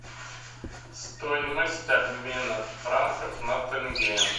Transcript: стоимость обмена франков на тенге